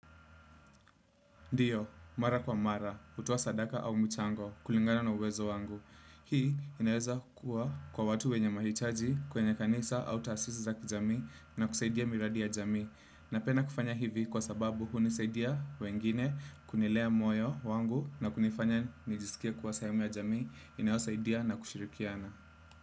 Ndiyo, mara kwa mara, hutoa sadaka au mchango, kulingana na uwezo wangu. Hii inaweza kuwa kwa watu wenye mahitaji, kwenye kanisa, au tasisi za kijami na kusaidia miradi ya jami. Napenda kufanya hivi kwa sababu hunisaidia wengine kunilea moyo wangu na kunifanya nijisikie kuwa sehemu ya jamii inayosaidia na kushirikiana.